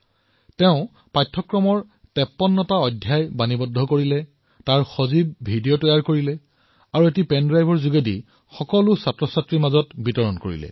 তেওঁ নিজৰ পাঠ্যক্ৰমৰ ৫৩টা অধ্যায়ক ৰেকৰ্ড কৰিলে এনিমেটেড ভিডিঅ প্ৰস্তুত কৰিলে আৰু ইয়াক এটা পেন ড্ৰাইভত লৈ নিজৰ শিক্ষাৰ্থীসকলৰ মাজত বিতৰণ কৰিলে